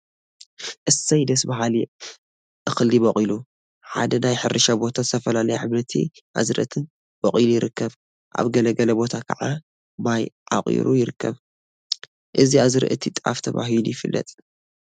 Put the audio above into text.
እሰይ! ደስ በሃሊ እክሊ በቍሉ፡፡ ሓደ ናይ ሕርሻ ቦታ ዝተፈላለዩ ሓምለዎት አዝርእቲ በቍሉ ይርከብ፡፡ አብ ገለገለ ቦታ ከዓ ማይ አዕቍሩ ይርከብ፡፡ እዚ አዝርእቲ ጣፍ ተባሂሉ ይፍለጥ፡፡